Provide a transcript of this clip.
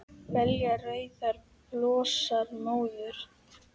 Belja rauðar blossa móður